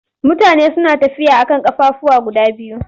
Mutane suna tafiya a kan ƙafafuwa guda biyu.